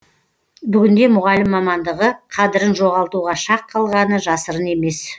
бүгінде мұғалім мамандығы қадірін жоғалтуға шақ қалғаны жасырын емес